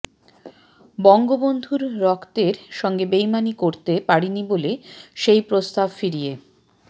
বঙ্গবন্ধুর রক্তের সঙ্গে বেইমানি করতে পারিনি বলে সেই প্রস্তাব ফিরিয়ে